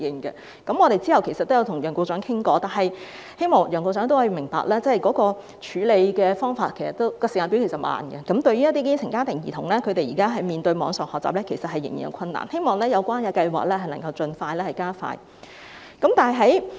其後，我們曾與楊局長討論，我希望楊局長明白，政府處理問題的時間表其實頗慢，一些基層家庭兒童現時在網上學習方面仍然有困難，我希望有關計劃能盡量加快落實。